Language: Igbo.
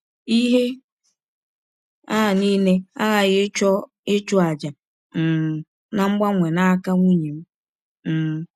Ihe a nile aghaghị ịchọ ịchụ àjà um na mgbanwe n’aka nwụnye m. m.